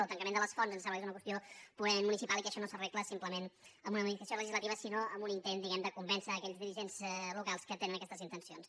el tancament de les fonts ens sembla que és una qüestió purament municipal i que això no s’arregla simplement amb una modificació legislativa sinó amb un intent diguem ne de convèncer aquells dirigents locals que tenen aquestes intencions